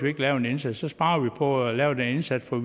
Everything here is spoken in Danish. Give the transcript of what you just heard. ikke lave en indsats så sparer man på at lave den indsats for